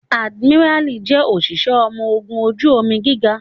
Adimirali jẹ́ òṣìṣẹ́ ọmọ ogun ojú omi gíga